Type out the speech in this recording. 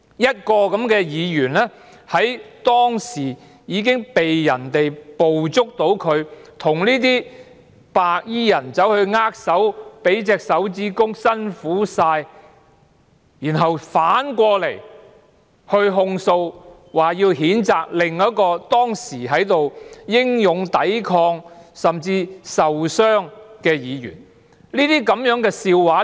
一名當時被捕捉到與白衣人握手、舉起拇指說道"辛苦了"的議員，竟然控訴或譴責另一位當時英勇抵抗以致受傷的議員。